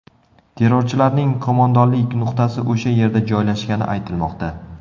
Terrorchilarning qo‘mondonlik nuqtasi o‘sha yerda joylashgani aytilmoqda.